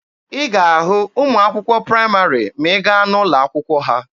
Ị ga-ahụ ụmụ akwụkwọ praịmarị ma ị gaa n'ụlọ akwụkwọ ha.